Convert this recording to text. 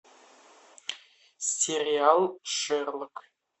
сериал шерлок